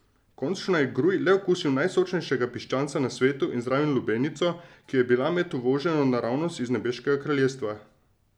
Končno je Gruj le okusil najsočnejšega piščanca na svetu in zraven lubenico, ki je bila menda uvožena naravnost iz nebeškega kraljestva.